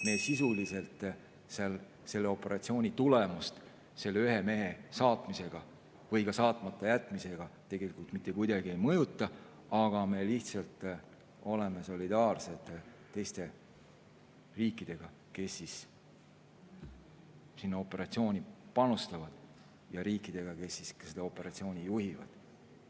Me sisuliselt selle operatsiooni tulemust selle ühe mehe saatmisega või ka saatmata jätmisega mitte kuidagi ei mõjuta, aga me oleme lihtsalt solidaarsed teiste riikidega, kes sinna operatsiooni panustavad, ja riikidega, kes seda operatsiooni juhivad.